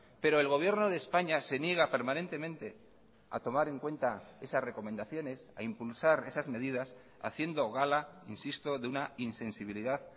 pero el gobierno de españa se niega permanentemente a tomar en cuenta esas recomendaciones a impulsar esas medidas haciendo gala insisto de una insensibilidad